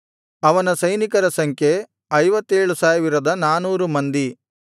ಅವನ ಸೈನಿಕರ ಸಂಖ್ಯೆ 57400 ಮಂದಿ